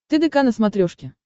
тдк на смотрешке